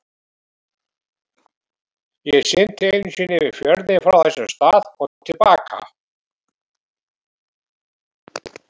Ég synti einu sinni yfir fjörðinn frá þessum stað og til baka.